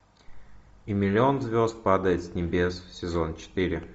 и миллион звезд падает с небес сезон четыре